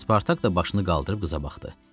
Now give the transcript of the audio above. Spartak da başını qaldırıb qıza baxdı.